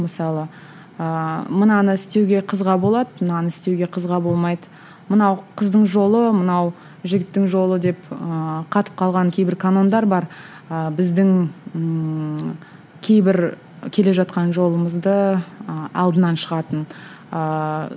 мысалы ыыы мынаны істеуге қызға болады мынаны істеуге қызға болмайды мынау қыздың жолы мынау жігіттің жолы деп ііі қатып қалған кейбір канондар бар ы біздің ііі кейбір келе жатқан жолымызды ы алдынан шығатын ыыы